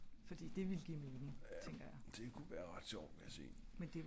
jeg tror ogs det er til overvejelse om den ska opdateres inden næste oplag